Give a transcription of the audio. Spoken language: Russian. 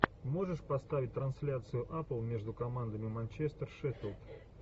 можешь поставить трансляцию апл между командами манчестер шеффилд